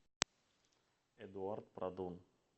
эдуард продон